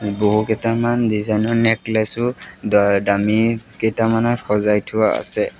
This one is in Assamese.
বহুকেইটামান ডিজাইন ৰ নেকলেছ ও ডা ডামী কেইটামানত সজাই থোৱা আছে।